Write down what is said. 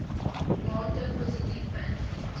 mate positief beïnvloed